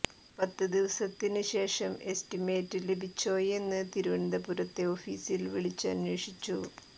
പത്ത് ദിവസത്തിന് ശേഷം എസ്റ്റിമേറ്റ് ലഭിച്ചോയെന്ന് തിരുവനന്തപുരത്തെ ഓഫീസിൽ വിളിച്ച് അന്വേഷിച്ചു